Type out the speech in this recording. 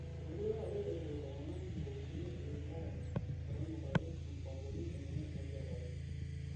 Meekure apa epuo ltung'ana nkopisini e wilaya metonyorrari mupangoni enye e nchetare